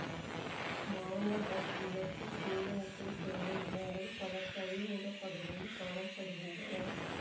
மானோடக்டிலசு பேரினத்தைச் சேர்ந்த இனங்கள் பல கழிமுகப் பகுதிகளில் காண படுகின்றன